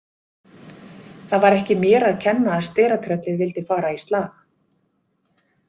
Það var ekki mér að kenna að steratröllið vildi fara í slag.